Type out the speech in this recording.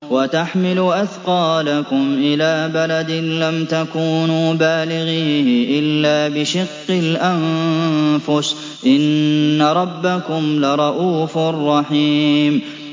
وَتَحْمِلُ أَثْقَالَكُمْ إِلَىٰ بَلَدٍ لَّمْ تَكُونُوا بَالِغِيهِ إِلَّا بِشِقِّ الْأَنفُسِ ۚ إِنَّ رَبَّكُمْ لَرَءُوفٌ رَّحِيمٌ